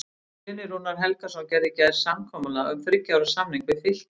Guðni Rúnar Helgason gerði í gær samkomulag um þriggja ára samning við Fylki.